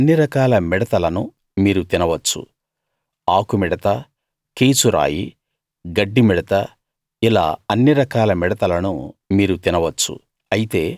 అన్ని రకాల మిడతలను మీరు తినవచ్చు ఆకు మిడత కీచురాయి గడ్డి మిడత ఇలా అన్ని రకాల మిడతలను మీరు తినవచ్చు